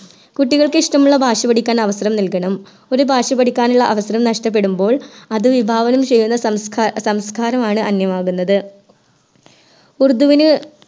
കുട്ടികൾക്ക് ഇഷ്ട്ടമുള്ള ഭാഷാപടിക്കാൻ അവസരം നൽകണം ഒരു ഭാഷാപഠിക്കാനുള്ള അവസരം നഷ്ട്ടപെടുമ്പോൾ അത് വിഭാഗങ്ങളും ചെയ്യുന്ന സംസ്ക്ക സംസ്ക്കാരമാണ് അന്യമാകുന്നത് ഉറുദുവിന്